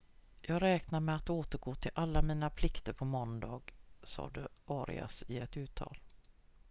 """jag räknar med att återgå till alla mina plikter på måndag" sade arias i ett uttalande.